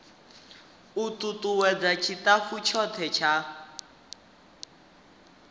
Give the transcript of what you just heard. u tutuwedza tshitafu tshothe tsha